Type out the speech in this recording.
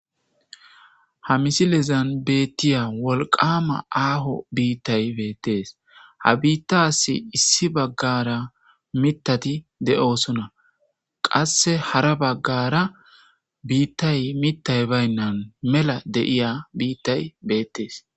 Ha misilezan beettiya wolqama aaho biittay beettees ha biittasi issi baggara mitati de'oosona qasse hara baggara biittay mittay baynnan mela deiya biittay beettees.